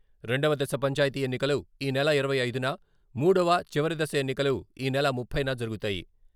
రెండవ దశ పంచాయతీ ఎన్నికలు ఈ నెల ఇరవై ఐదున, మూడవ, చివరి దశ ఎన్నికలు ఈ నెల ముప్పైన జరుగుతాయి.